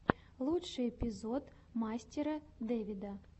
лучший эпизод мастера дэвида